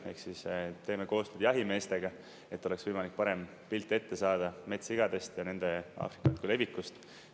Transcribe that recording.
Ehk siis, teeme koostööd jahimeestega, et oleks võimalik parem pilt ette saada metssigadest ja nende Aafrika katku levikust.